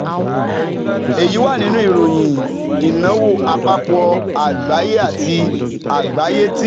Èyí wà nínú ìròyìn ìnáwó àpapọ̀ àgbáyé àti àti àgbáyé ti